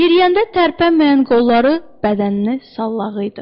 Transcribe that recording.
Yeriyəndə tərpənməyən qolları bədəninə sallağı idi.